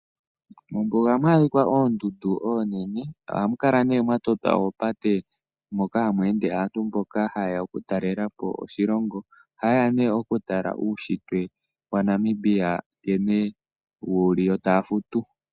Mombuga ohamu adhika oondundu oonene. Ohamu kala mwa totwa oondjila moka hamu ende aantu mboka haye ya okutalela po oshilongo. Ohaye ya okutala uunshitwe waNamibia nkene wu li yo taya futu.